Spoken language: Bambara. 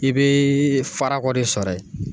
I bɛɛɛɛ farakɔ de sɔrɔ ye.